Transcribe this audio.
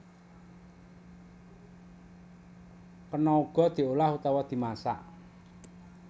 Kena uga diolah utawa dimasak